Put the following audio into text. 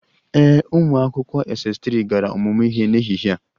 Ee, ụmụ akwụkwọ Ss3 gara ọmụmụ ihe n'ehihie a